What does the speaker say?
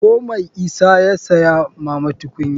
Ko mai isa ya saya mama tukunya.